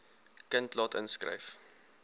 kind laat inskryf